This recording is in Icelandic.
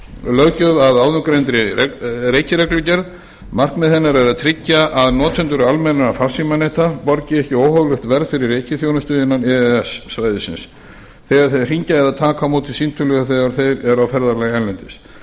löggjöf að áðurgreindri reikireglugerð markmið hennar er að tryggja að notendur almennra farsímaneta borgi ekki óhóflegt verð fyrir reikiþjónustu innan e e s svæðisins þegar þeir hringja eða taka á móti símtölum þegar þeir eru á ferðalagi erlendis þetta